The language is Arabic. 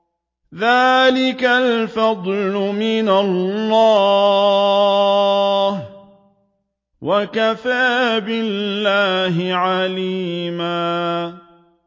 ذَٰلِكَ الْفَضْلُ مِنَ اللَّهِ ۚ وَكَفَىٰ بِاللَّهِ عَلِيمًا